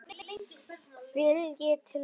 Vilji til að ná saman.